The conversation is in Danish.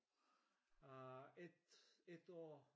Øh ét ét år